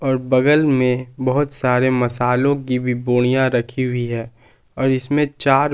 बगल में बहुत सारे मसालो की भी बोनिया रखी हुई है और इसमें चार--